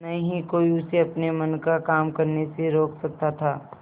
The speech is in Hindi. न ही कोई उसे अपने मन का काम करने से रोक सकता था